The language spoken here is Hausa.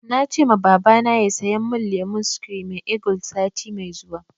Na ce ma babana ya saya mun lemon screaming eagle sati mai zuwa